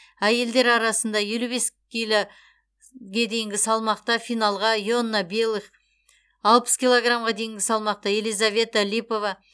әйелдер арасында елу бес киліге дейінгі салмақта финалға иоанна белых алпыс килограммға дейінгі салмақта елизавета липова